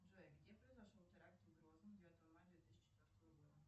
джой где произошел теракт в грозном девятого мая две тысячи четвертого года